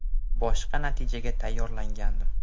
Boshqa natijaga tayyorlangandim.